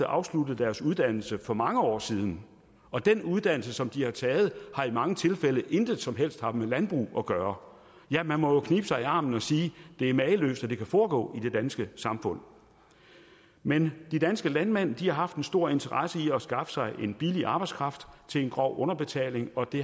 afsluttet deres uddannelse for mange år siden og den uddannelse som de har taget har i mange tilfælde intet som helst haft med landbrug at gøre ja man må jo knibe sig i armen og sige det er mageløst at det kan foregå i det danske samfund men de danske landmænd har haft en stor interesse i at skaffe sig en billig arbejdskraft til en grov underbetaling og det